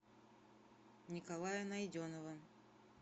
николая найденова